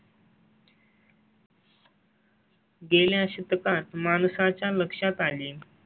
गेल्या शतकात माणसा च्या लक्षात आली.